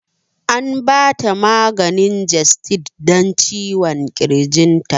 An ba ta maganin gestid dan ciwon ƙirginta